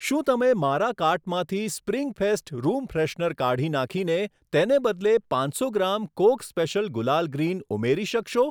શું તમે મારા કાર્ટમાંથી સ્પ્રિંગ ફેસ્ટ રૂમ ફ્રેશનર કાઢી નાંખીને તેને બદલે પાંચસો gram Coke special gulal green ઉમેરી શકશો?